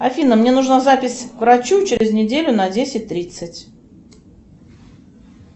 афина мне нужна запись к врачу через неделю на десять тридцать